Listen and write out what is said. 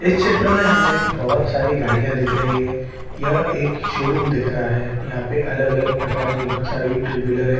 इस क्षेत्र में हमें बोहोत सारी गाड़ियां दिख रही है। यह एक शोरूम दिख रहा है। यहां पे अलग-अलग प्रकार की बहुत सारी टू व्हीलर हैं।